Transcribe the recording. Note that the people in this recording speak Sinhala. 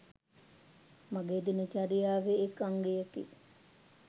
මගේ දින චර්යාවේ එක් අංගයකි.